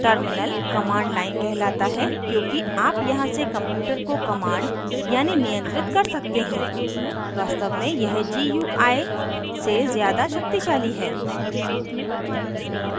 terminal command line कहलाता है क्योंकि आप यहाँ से computer को command यानी नियंत्रित कर सकते हैं वास्तव में यह gui से ज़्यादा शक्तिशाली है